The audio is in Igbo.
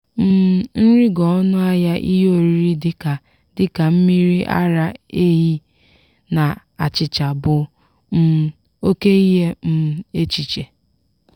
um nrigo ọnụ ahịa ihe oriri dịka dịka mmiri ara ehi na achịcha bụ um oke ihe um echiche.